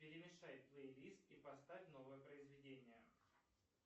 перемешай плейлист и поставь новое произведение